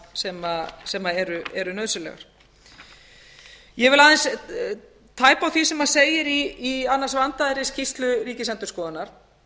breytingum sem eru nauðsynlegar ég vil aðeins tæpa á því sem segir í annars vandaðri skýrslu ríkisendurskoðunar